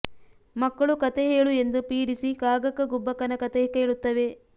ಮಕ್ಕಳು ಕಥೆ ಹೇಳು ಎಂದು ಪೀಡಿಸಿ ಕಾಗಕ್ಕ ಗುಬ್ಬಕ್ಕನ ಕಥೆ ಕೇಳುತ್ತವೆ